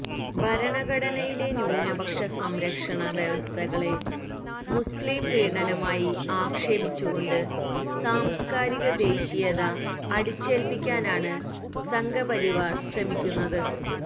ഭരണഘടനയിലെ ന്യൂനപക്ഷ സംരക്ഷണ വ്യവസ്ഥകളെ മുസ്ലിംപ്രീണനമായി ആക്ഷേപിച്ചുകൊണ്ട് സാംസ്കാരിക ദേശീയത അടിച്ചേല്പ്പിക്കാനാണ് സംഘ്പരിവാര് ശ്രമിക്കുന്നത്